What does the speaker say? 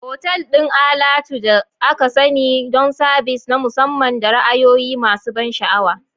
Otal ɗin alatu da aka sani don sabis na musamman da ra'ayoyi masu ban sha'awa.